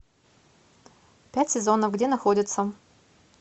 пять сезонов где находится